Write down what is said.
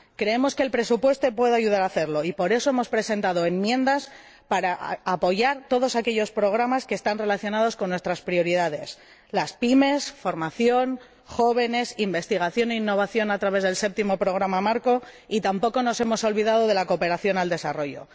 Creemos que el presupuesto puede ayudar a hacerlo y, por eso, hemos presentado enmiendas para apoyar todos aquellos programas que están relacionados con nuestras prioridades las PYME, formación, jóvenes, investigación e innovación a través del Séptimo programa marco, y tampoco nos hemos olvidado de la cooperación al desarrollo.